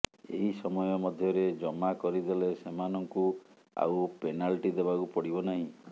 ଏହି ସମୟ ମଧ୍ୟରେ ଜମା କରିଦେଲେ ସେମାନଙ୍କୁ ଆଉ ପେନାଲ୍ଟି ଦେବାକୁ ପଡିବ ନାହିଁ